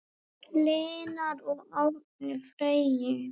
Lena og Árni Freyr.